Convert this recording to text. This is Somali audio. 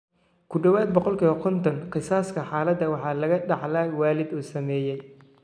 Ku dhawaad ​​50% kiisaska, xaalada waxaa laga dhaxlaa waalid uu saameeyey.